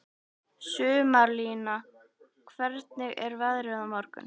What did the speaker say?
Sumarlína, hvernig er veðrið á morgun?